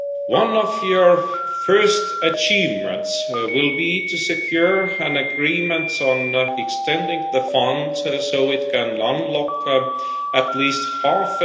One of your first achievements will be to secure an agreement on extending the fund so it can unlock at least EUR